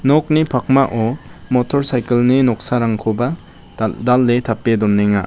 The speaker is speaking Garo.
nokni pakmao motor saikil ni noksarangkoba dal·dale tape donenga.